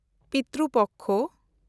Pitru Paksha